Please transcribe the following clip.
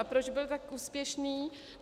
A proč byl tak úspěšný?